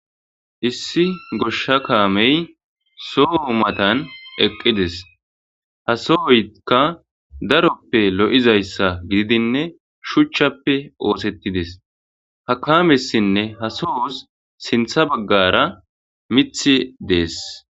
issi goshsha kaamey so umatan eqqides ha sohoykka daroppe lo7izayssa gididinne shuchchappe oosettides ha kaamessinne ha sohos sintha baggara mith dees